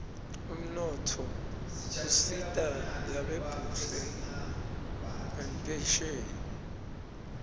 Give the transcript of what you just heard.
umnotfo usita lasebhtuhle ngenpheshebi